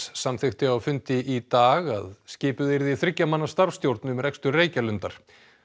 samþykkti á fundi í dag að skipuð yrði þriggja manna starfsstjórn um rekstur Reykjalundar